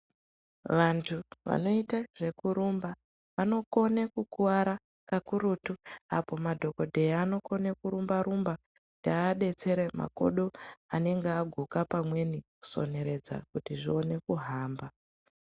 Vantu vanoita zvekurumba vanokona kukuwara kakurutu apo madhokodheya anokona kurumba rumba kuti aadetsere makodo anenge aguka pamweni kusoneredza kuti zvione kuhamba.